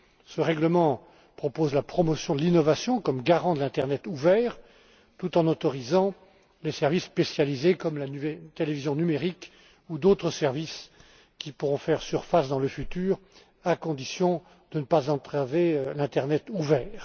Ce règlement propose la promotion de l'innovation comme garant de l'internet ouvert tout en autorisant les services spécialisés comme la télévision numérique ou d'autres services qui pourront faire surface dans le futur à condition de ne pas entraver l'internet ouvert.